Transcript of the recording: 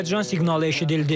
Həyəcan siqnalı eşidildi.